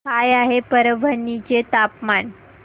काय आहे परभणी चे तापमान